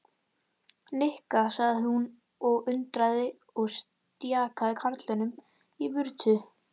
Nikki sagði hún undrandi og stjakaði karlinum í burtu.